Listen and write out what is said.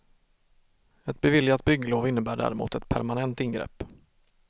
Ett beviljat bygglov innebär däremot ett permanent ingrepp.